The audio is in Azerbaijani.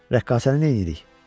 Rəqqasəni nəyirik?